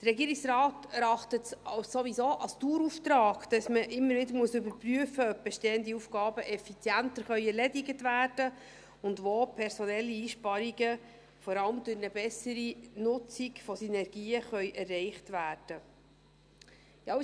Der Regierungsrat erachtet es sowieso als Dauerauftrag, dass man immer wieder überprüfen muss, ob bestehende Aufgaben effizienter erledigt werden können und wo personelle Einsparungen, vor allem durch eine bessere Nutzung von Synergien, erreicht werden können.